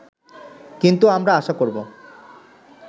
কিন্তু আমরা আশা করব